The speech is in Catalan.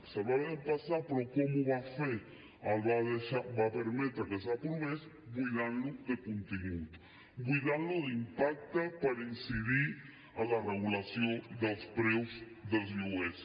se’l va haver d’empassar però com ho va fer va permetre que s’aprovés buidant lo de contingut buidant lo d’impacte per incidir en la regulació dels preus dels lloguers